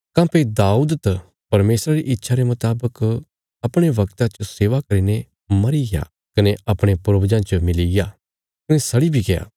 काँह्भई दाऊद त परमेशरा री इच्छा रे मुतावक अपणे बगता च सेवा करीने मरीग्या कने अपणे पूर्वजां च मिलीग्या कने सड़ी बी गया